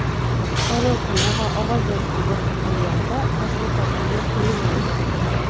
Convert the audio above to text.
Saylov kuni va ovoz berishga bir kun qolganida tashviqotga yo‘l qo‘yilmaydi.